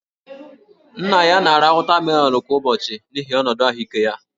Nna ya na-ara wọtamelọnụ kwa ụbọchị n'ihi ọnọdụ ahụike ya